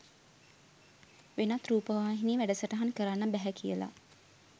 වෙනත් රූපවාහිනී වැඩසටහන් කරන්න බැහැ කියලා.